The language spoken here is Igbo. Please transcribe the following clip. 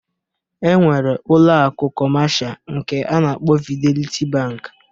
E nwere ụlọ akụ kọmasha nke a na-akpọ Fideliti Bankị